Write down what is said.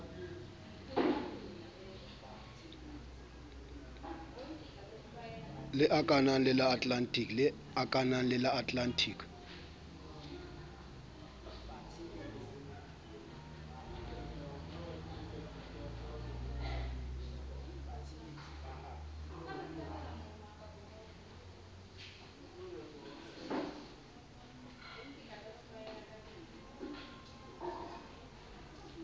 le akanang le la atlantic